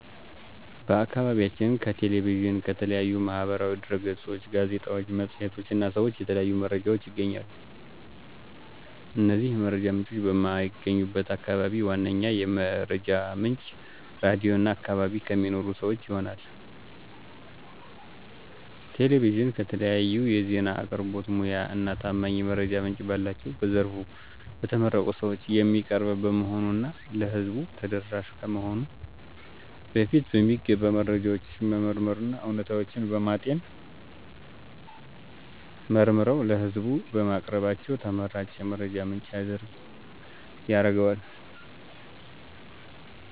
በአከባቢያችን ከ ቴሌቪዥን፣ ከተለያዩ ማህበራዊ ድህረገጾች፣ ጋዜጣዎች፣ መፅሔቶች እና ሰዎች የተለያዩ መረጃዎች እናገኛለን። እነዚህ የመረጃ ምንጮች በማይገኙባቸው አከባቢዎች ዋነኛ የመረጃ ምንጭ ራድዮ እና በአከባቢ ከሚኖሩ ሰወች ይሆናል። ቴሌቪዥን ከተለያዩ ዜና አቅርቦት ሙያ እና ታማኝ የመረጃ ምንጭ ባላቸው በዘርፉ በተመረቁ ሰወች የሚቀርብ በመሆኑ እና ለህዝቡ ተደራሽ ከመሆኑ በፊት በሚገባ መረጃውን በመመርመር እና እውነታዊነቱን በማጤን መርምረው ለህዝቡ በማቅረባቸው ተመራጭ የመረጃ ምንጭ ያረገዋል።